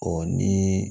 Ɔ ni